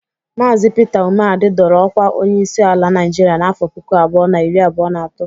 Maazi Pita Umeadị dọrọ ọkwa onyeisi ala Naịjịrịa n'afọ puku abụọ na iri abụọ na atọ